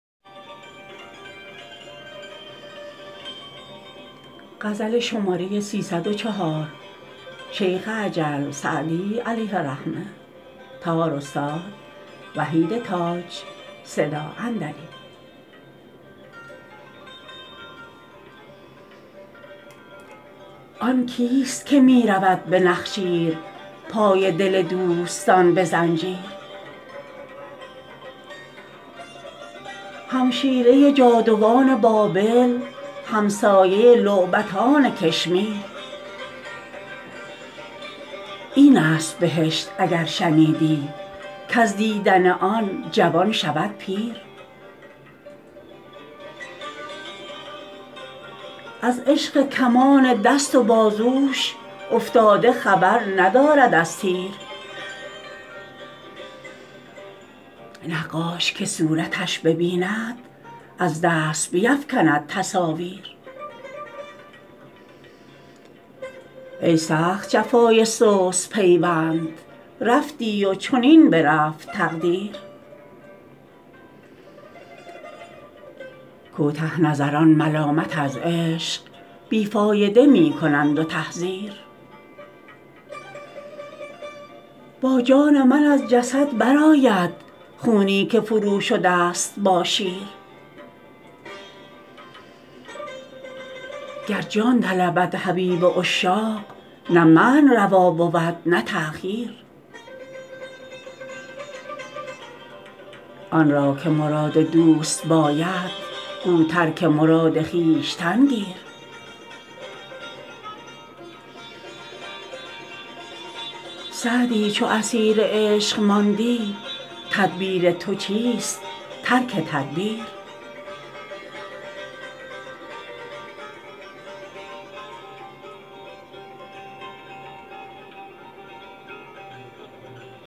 آن کیست که می رود به نخجیر پای دل دوستان به زنجیر همشیره جادوان بابل همسایه لعبتان کشمیر این است بهشت اگر شنیدی کز دیدن آن جوان شود پیر از عشق کمان دست و بازوش افتاده خبر ندارد از تیر نقاش که صورتش ببیند از دست بیفکند تصاویر ای سخت جفای سست پیوند رفتی و چنین برفت تقدیر کوته نظران ملامت از عشق بی فایده می کنند و تحذیر با جان من از جسد برآید خونی که فروشده ست با شیر گر جان طلبد حبیب عشاق نه منع روا بود نه تأخیر آن را که مراد دوست باید گو ترک مراد خویشتن گیر سعدی چو اسیر عشق ماندی تدبیر تو چیست ترک تدبیر